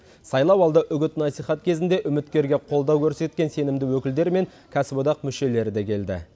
сайлауалды үгіт насихат кезінде үміткерге қолдау көрсеткен сенімді өкілдер мен кәсіподақ мүшелері де келді